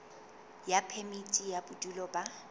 ya phemiti ya bodulo ba